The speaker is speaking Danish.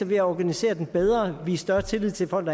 ved at organisere den bedre vise større tillid til folk